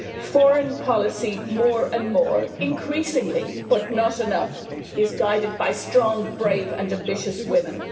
Foreign policy more and more increasingly, but not enough is guided by strong, brave and ambitious women.